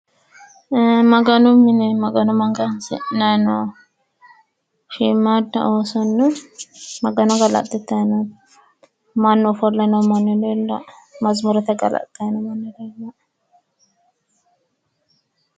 Maganu mine magano magansidhanni noo shiimmaadda oosonna magano galaxxitanni no mannu ofolle noo manni leellaae. Mazimuurete galaxxayi no manni leellawoe.